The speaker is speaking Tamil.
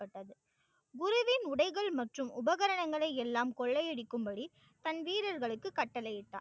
குருவின் உடைகள் மற்றும் உபகரணங்களை எல்லாம் கொள்ளையடிக்கும்படி தன் வீரர்களுக்கு கட்டளையிட்டான்.